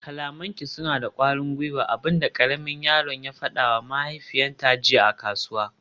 kalamanki suna da kwarin gwiwa, abin da karamin yaron ya fadawa mahaifiyarta jiya a kasuwa